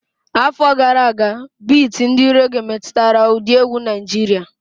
Afọ gara aga, iti ndi réghè metụtara ụdị egwu Naịjirịa.